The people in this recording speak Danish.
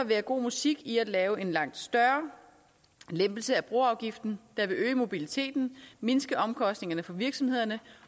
være god musik i at lave en langt større lempelse af broafgiften der vil øge mobiliteten mindske omkostningerne for virksomhederne